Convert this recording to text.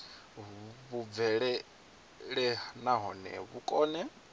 vhu bvelele nahone vhu kone